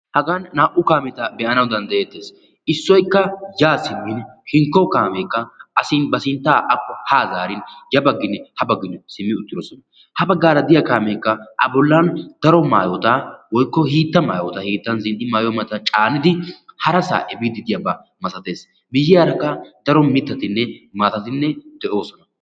hagan naa'u kaameta be'anawu dandayettes. issoyikka yaa siimidi hinkko kaameekka ba sinttaa akko haa zaariin ha bagginne ya bagginne simmi uttidosona. ha bagaara diya kaameekka a bollan daro maayota woyikko hiittaa maayota hiittan zin'i maayiyo maayota caanidi harasaa epiiddi de'iyaaba masates. miyiyaarakka daro mittatinne maatati de'oosona.